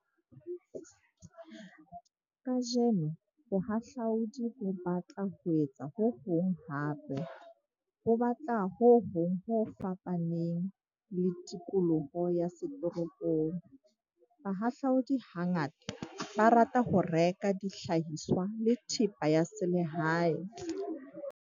Kajeno bohahlaodi bo batla ho etsa ho hong hape - bo batla ho hong 'ho fapaneng' le tikoloho ya setoropong. Bahlahlaodi hangata ba rata ho reka dihlahiswa le thepa ya selehae.